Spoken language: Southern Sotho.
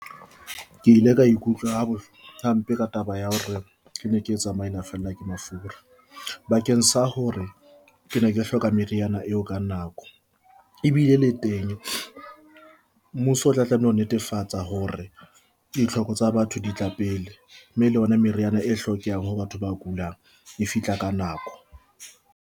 Ke ile ka ikutlwa ha hampe ka taba ya hore ke ne ke tsamaile fellwa ke mafura bakeng sa hore ke ne ke hloka meriana eo ka nako e bile e teng mmuso o tla tlameha ho netefatsa hore ditlhoko tsa batho di tla pele mme le yona meriana e hlokehang ho batho ba kulang e fihla ka nako.